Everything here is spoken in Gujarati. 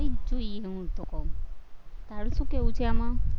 જ જોઈએ હું તો ક્વ, તારું શું કેવુ છે આમાં